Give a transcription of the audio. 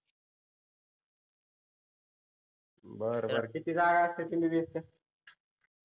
बर बर किती जागा असते MBBS च्या